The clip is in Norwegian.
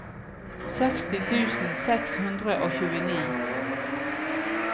seksti tusen seks hundre og tjueni